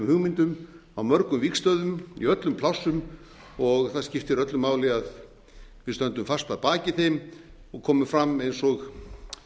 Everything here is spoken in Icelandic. hugmyndum á mörgum vígstöðvum í öllum plássum og það skiptir öllu máli að við stöndum fast að baki þeim og komum að eins og